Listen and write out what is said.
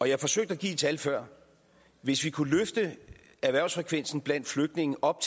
jeg forsøgte at give et tal før hvis vi kunne løfte erhvervsfrekvensen blandt flygtninge op